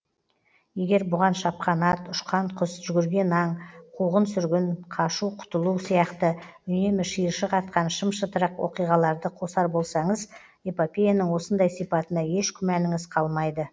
егер бұған шапқан ат ұшқан құс жүгірген аң қуғын сүргін қашу құтылу сияқты үнемі шиыршық атқан шым шытырық оқиғаларды қосар болсаңыз эпопеяның осындай сипатына еш күмәніңіз қалмайды